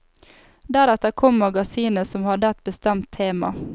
Deretter kom magasinet som hadde et bestemt tema.